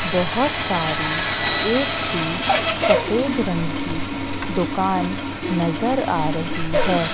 बहुत सारी एक सी सफेद रंग की दुकान नजर आ रही है।